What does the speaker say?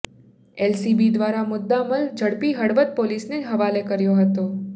LCB દ્વારા મુદ્દામાલ ઝડપી હળવદ પોલીસને હવાલે કર્યો હતો